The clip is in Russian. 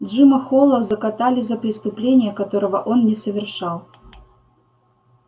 джима холла закатали за преступление которого он не совершал